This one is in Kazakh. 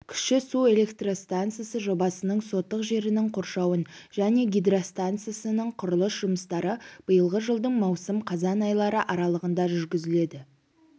кіші су электрстанциясы жобасының сотык жерінің қоршауын және гидростанциясының құрылыс жұмыстары биылғы жылдың маусым-қазан айлары аралығында жүргізіледі